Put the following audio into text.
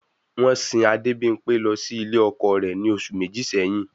Wọ́n sìn Adebimpe lọ ilé ọkọ rẹ̀ ní oṣù méjì sẹ́yìn.